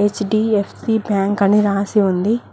HDFC bank అని రాసి ఉంది.